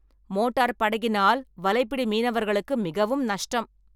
Motor படகினால் வலைப்பிடி மீனவர்களுக்கு மிகவும் நஷ்டம்.